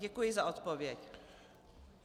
Děkuji za odpověď.